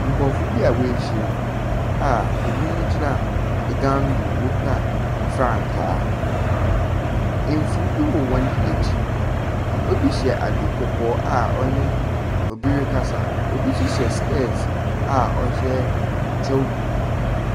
Nkorɔfo bi woehyia mu a binom gyina dan wokura mfrankaa, efuw bi wɔ hɔn ekyir. Papa bi hyɛ adze kɔkɔɔ a ɔnye pbi rekasa. Obi so hyɛ sespɛɛse a ɔhyɛ kyɛw tuntum.